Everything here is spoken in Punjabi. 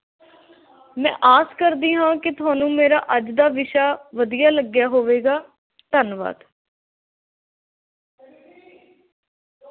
ਮੈਂ ਆਸ ਕਰਦੀ ਹਾਂ ਕਿ ਤੁਹਾਨੂੰ ਮੇਰਾ ਅੱਜ ਦਾ ਵਿਸ਼ਾ ਵਧੀਆ ਲੱਗਿਆ ਹੋਵੇਗਾ, ਧੰਨਵਾਦ।